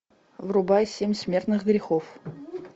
врубай семь смертных грехов